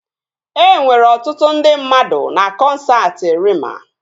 E nwere ọtụtụ ndị mmadụ na kọnsaati Reema